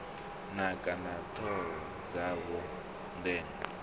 naka na thoro dzawo ndenya